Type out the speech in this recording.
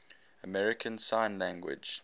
american sign language